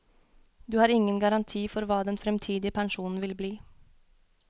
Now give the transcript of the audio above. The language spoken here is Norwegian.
Du har ingen garanti for hva den fremtidige pensjonen vil bli.